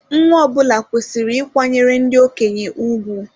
Nwa ọbụla kwesịrị ịkwanyere ndị okenye ùgwù.